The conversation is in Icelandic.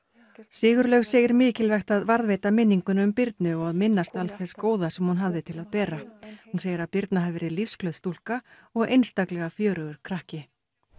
Sigurlaug segir mikilvægt að varðveita minninguna um Birnu og að minnast alls þess góða sem hún hafði upp til að bera hún segir að Birna hafi verið lífsglöð stúlka og einstaklega fjörugur krakki